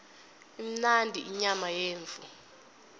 imnandi inyama yemvu